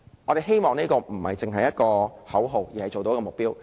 我們希望這不單是一個口號，而是能做到的目標。